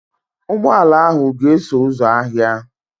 Ụgbọ ala ahụ ga-eso ụzọ ahịa.